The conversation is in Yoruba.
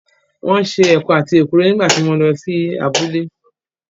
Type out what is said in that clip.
Wọ́n ṣe ẹ̀kọ àti èkuru nígbà tí mo lọ sí abúlé